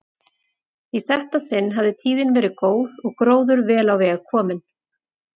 Í þetta sinn hafði tíðin verið góð og gróður vel á veg kominn.